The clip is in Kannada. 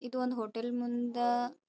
ಇದು ಒಂದ ಹೋಟೆಲ್ ಮುಂದ--